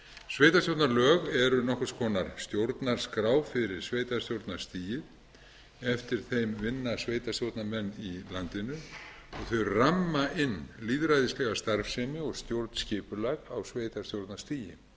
sveitarstjórnarlög eru nokkurs konar stjórnarskrá fyrir sveitarstjórnarstigið eftir þeim vinna sveitarstjórnarmenn í landinu og þau ramma inn lýðræðislega starfsemi og stjórnskipulag á sveitarstjórnarstigi þess